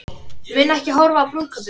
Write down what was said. Mun ekki horfa á brúðkaupið